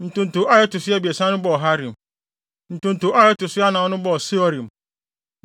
Ntonto a ɛto so abiɛsa no bɔɔ Harim. Ntonto a ɛto so anan no bɔɔ Seorim.